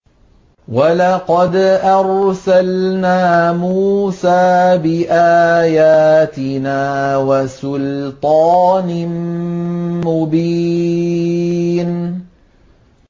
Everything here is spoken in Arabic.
وَلَقَدْ أَرْسَلْنَا مُوسَىٰ بِآيَاتِنَا وَسُلْطَانٍ مُّبِينٍ